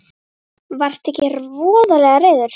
Varðstu ekki voðalega reiður?